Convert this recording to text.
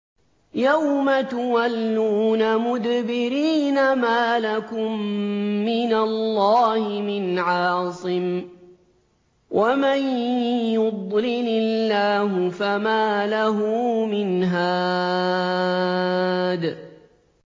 يَوْمَ تُوَلُّونَ مُدْبِرِينَ مَا لَكُم مِّنَ اللَّهِ مِنْ عَاصِمٍ ۗ وَمَن يُضْلِلِ اللَّهُ فَمَا لَهُ مِنْ هَادٍ